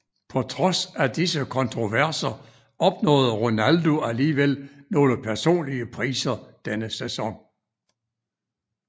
På trods af disse kontroverser opnåede Ronaldo alligevel nogle personlige priser denne sæson